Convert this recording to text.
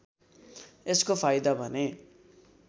यसको फाइदा भने